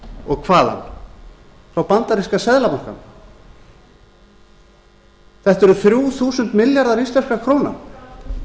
og hvaðan frá bandaríska seðlabankanum þetta eru þrjú þúsund milljarðar íslenskra króna